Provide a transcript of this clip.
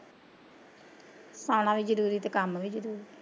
ਖਾਣਾ ਵੀ ਜਰੂਰੀ ਤੇ ਕੰਮ ਵੀ ਜਰੂਰੀ